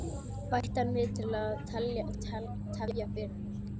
bætti hann við til að tefja fyrir henni.